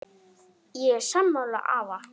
Ég er sammála afa.